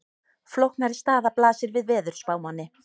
Flóknari staða blasir við veðurspámanni.